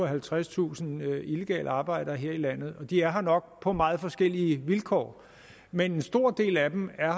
halvtredstusind illegale arbejdere her i landet de er her nok på meget forskellige vilkår men en stor del af dem er